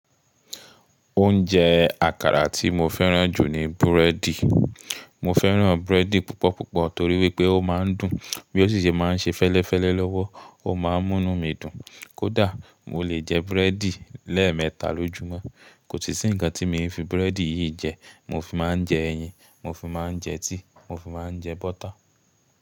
Oúnjẹ àkàrà tí mo fẹ́ràn jù ni búrẹ́dì. Mo fẹ́ràn búrẹ́dì púpọ̀ púpọ̀ torí wípé ó máa ń dùn, bí ó sì ṣe máa ń ṣe fẹ́lẹ́fẹ́lẹ́ lọ́wọ́, ó máa ń mú nu mí dùn. Kódà mo lè jẹ búrẹ́dì lẹ́ẹ̀mẹta lójúmọ́. Kò sì ṣíǹga tíì mi fi búrẹ́dì yìí jẹ, mo fi máa ń jẹ ẹyin, mo fi máa ń jẹ tíì, mo fi máa ń jẹ bọ́tà.